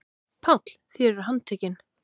PÁLL: Þér eruð handtekin.